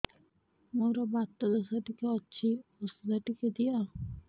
ମୋର୍ ବାତ ଦୋଷ ଟିକେ ଅଛି ଔଷଧ ଟିକେ ଦିଅ